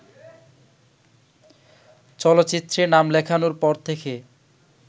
চলচ্চিত্রে নাম লেখানোর পর থেকে